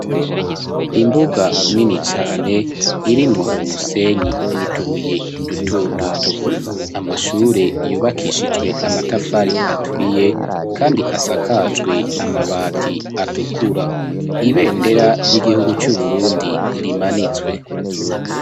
Imbuga nini cane irimwo umusenyi nutubuye duto-duto. Amashure yubakishijwe amatafari aturiye kandi asakajwe amabati atukura, ibendera ry'igihugu cu Burundi rimanitswe.